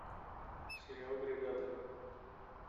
сериал бригада